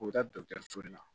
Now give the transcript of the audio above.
U bɛ taa dɔkitɛriw to yen